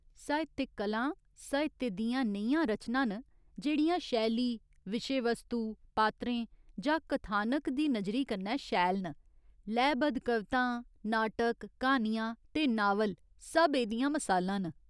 साहित्यक कलां साहित्य दियां नेहियां रचनां न जेह्‌ड़ियां शैली, विशे वस्तु, पात्रें जां कथानक दी नजरी कन्नै शैल न। लैऽ बद्ध कवितां, नाटक, क्हानियां ते नावल सब एह्‌दियां मसालां न।